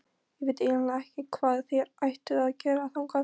Ég veit eiginlega ekki hvað þér ættuð að gera þangað.